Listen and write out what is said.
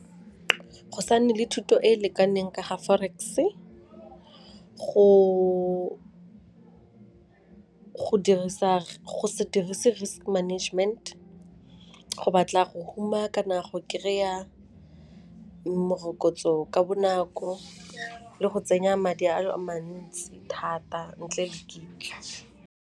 Go sa nne le thuto e e lekaneng ka ga forex, go se dirise risk management, go batla go huma kana go kry-a morokotso ka bonako le go tsenya madi a le mantsi thata ntle le dintlha.